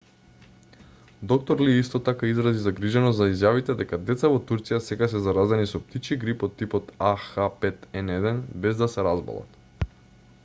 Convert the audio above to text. д-р ли исто така изрази загриженост за изјавите дека деца во турција сега се заразени со птичји грип од типот ah5n1 без да се разболат